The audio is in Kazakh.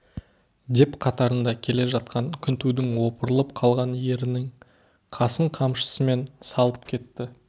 деп қатарында келе жатқан күнтудың опырылып қалған ерінің қасын қамшысымен салып кетті